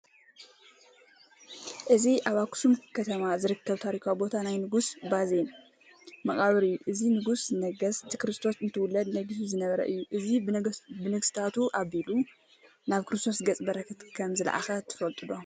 እዚ ኣብ ኣኽሱም ከተማ ዝርከብ ታሪካዊ ቦታ ናይ ንጉስ ባዜን መቓብር እዩ፡፡ እዚ ንጉሰ ነገስት ክርስቶስ እንትውለድ ነጊሱ ዝነበረ እዩ፡፡ እዚ ብነገስታቱ ኣቢሉ ናብ ክርስቶስ ገፀ በረከት ከምዝለኣኸ ትፈልጡ ዶ?